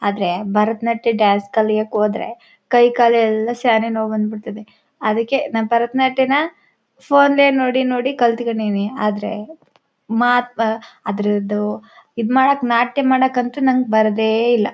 ಆದರೆ ಭರತನಾಟ್ಯ ಡಾನ್ಸ್ ಕಲಿಯಕ್ಕೆ ಹೋದ್ರೆ ಕೈ ಕಾಲೆಲ್ಲ ಶ್ಯಾನೆ ನೋವು ಬಂದು ಬಿಡ್ತದೆ ಅದಕ್ಕೆ ನಮ್ಮ್ ಭರತನಾಟ್ಯನಾ ಫೋನ್ ಲೇ ನೋಡಿನೋಡಿ ಕಲ್ತು ಕೊಂಡೀನಿ ಆದರೆ ಮಾತು ಅದರದ್ದು ಇದ್ ಮಾಡಕು ನಾಟ್ಯ ಮಾಡಕ್ಕಂತೂ ನಂಗೆ ಬರೋದೇ ಇಲ್ಲ.